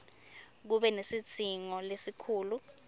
kube nesidzingo lesikhulu